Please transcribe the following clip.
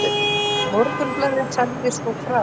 Morgunblaðið sagði svo frá